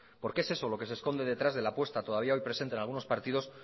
porque es eso lo que se esconde detrás de la apuesta todavía hoy presente en algunos partidos